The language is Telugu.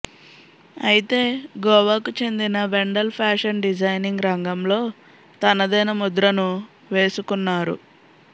అయితే గోవాకు చెందిన వెండెల్ ఫ్యాషన్ డిజైనింగ్ రంగంలో తనదైన ముద్రను వేసుకున్నారు